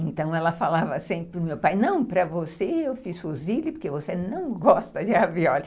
Então ela falava sempre para o meu pai, não, para você eu fiz fusilha porque você não gosta de ravioli.